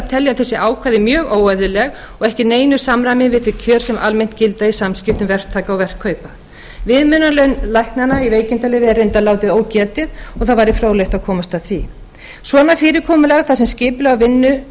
telja þessi ákvæði mjög óeðlileg og ekki í neinu samræmi við þau kjör sem almennt gilda í samskiptum verktaka og verkkaupa viðmiðunarlauna læknanna í veikindaleyfi er reyndar látið ógetið og það væri fróðlegt að komast að því svona fyrirkomulag þar sem skipulag á vinnu